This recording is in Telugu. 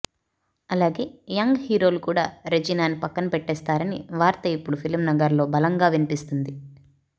అలాగే యంగ్ హీరోలు కూడా రెజినాని పక్కన పెట్టేసారని వార్త ఇప్పుడు ఫిలిం నగర్ లో బలంగా వినిపిస్తుంది